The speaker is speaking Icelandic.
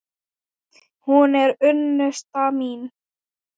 Hún er unnusta mín!